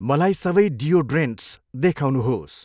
मलाई सबै डियोड्रेन्टस देखाउनुहोस्।